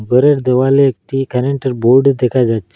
ঘরের দেওয়ালে একটি কারেন্টের বোর্ড দেখা যাচ্ছে।